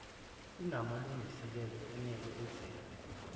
kunamalungiselelo enele enzelwe